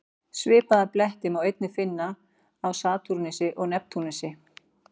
Svipaða bletti má einnig finna á Satúrnusi og Neptúnusi.